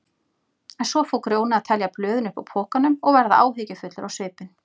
En svo fór Grjóni að telja blöðin uppúr pokanum og verða áhyggjufullur á svipinn.